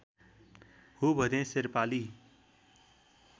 हो भनी शेर्पाली